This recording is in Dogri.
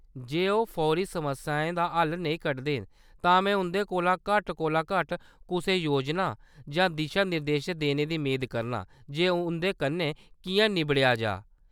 जे ओह्‌‌ फौरी समस्याएं दा हल्ल नेईं कढदे न, तां में उंʼदे कोला घट्ट कोला घट्ट कुसै योजना जां दिशा-निर्देश देने दी मेद करनां जे उंʼदे कन्नै किʼयां निब्बड़ेआ जाऽ।